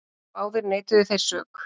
Báðir neituðu þeir sök.